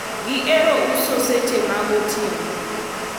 gihero uso seche mag otieno